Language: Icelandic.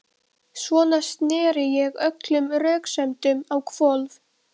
Svona sneri ég öllum röksemdum á hvolf.